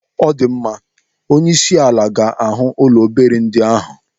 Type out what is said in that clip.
Ọdịmma! Onyeisiala ga-ahụ ụlọ obere ndị ahụ.